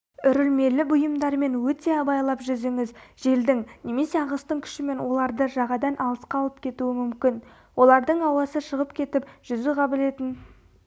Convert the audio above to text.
үрілмелі бұйымдармен өте абайлап жүзіңіз желдің немесе ағыстың күшімен оларды жағадан алысқа алып кетуі мүмкін олардың ауасы шығып кетіп жүзу қабілетін